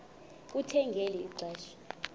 kuthe ngeli xesha